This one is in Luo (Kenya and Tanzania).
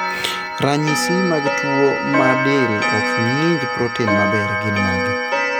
Ranyisi mag tuo ma del ok ng'inj proten maber gin mage?